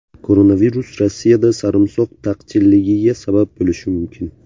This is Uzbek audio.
Koronavirus Rossiyada sarimsoq taqchilligiga sabab bo‘lishi mumkin.